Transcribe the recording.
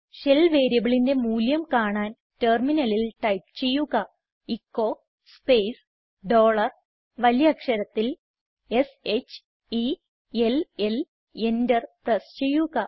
shell വേരിയബിളിന്റെ മൂല്യം കാണാൻ ടെർമിനലിൽ ടൈപ്പ് ചെയ്യുക എച്ചോ സ്പേസ് ഡോളർ വലിയ അക്ഷരത്തിൽ s h e l ൽ എന്റർ പ്രസ് ചെയ്യുക